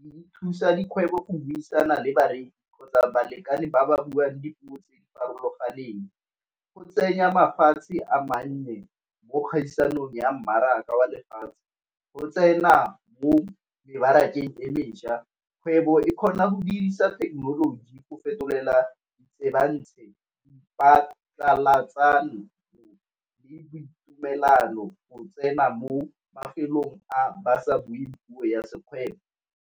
di thusa dikgwebo o buisana le bareki kgotsa balekane ba ba buang dipuo tse di farologaneng. Go tsenya mafatshe a mannye mo dikgaisanong ya mmaraka wa lefatshe, o tsena mo mebarakeng e mešwa. Kgwebo e kgona go dirisa thekenoloji go fetolela le boitumelano go tsena mo mafelong a ba sa buing puo ya sekgwebo.